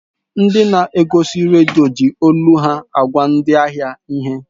Ndị na-egosi redio ji olu ha agwa ndị ahịa ihe.